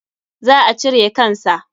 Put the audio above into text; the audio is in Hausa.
Za a cire kan sa.